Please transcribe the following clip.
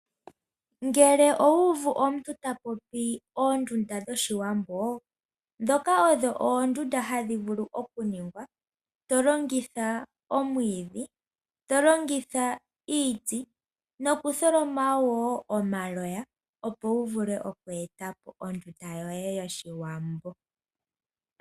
Ngele owuuvu omuntu tapopi oondunda dhoshiwambo, ndhoka odho oondunda hadhi vulu okuningwa tolongitha omwiidhi , tolongitha iiti, nokutholoma wo omaloya, opo wuvule okweetapo ondunda yoye yoshiwambo.